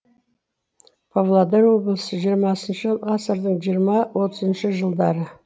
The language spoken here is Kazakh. павлодар облысы жиырмасыншы ғасырдың жиырма отызыншы жылдары